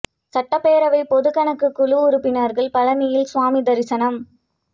சட்டப் பேரவை பொதுக் கணக்குக் குழு உறுப்பினா்கள் பழனியில் சுவாமி தரிசனம்